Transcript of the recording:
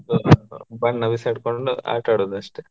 ಬಣ್ಣ ಬಿಸಾಡ್ಕೊಂಡು ಆಟಾಡೋದಷ್ಟೆ.